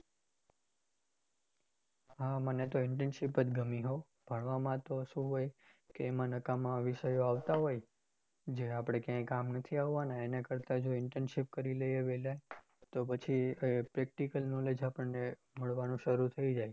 હા મને તો internship જ ગમી હો ભણવામાં તો શું હોય કે એમાં નકામા વિષયો આવતા હોય, જે આપણે ક્યાય કામ નથી આવવાના એના કરતા જો internship કરી લઈએ વહેલા તો પછી practical knowledge આપણને મળવાનું શરુ થય જાય.